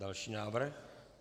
Další návrh.